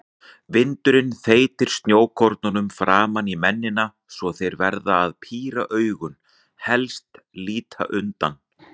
Vindurinn þeytir snjókornum framan í mennina svo þeir verða að píra augun, helst líta undan.